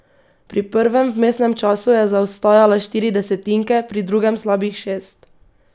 Pri prvem vmesnem času je zaostajala štiri desetinke, pri drugem slabih šest.